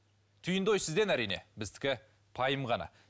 түйінді ой сізден әрине біздікі пайым ғана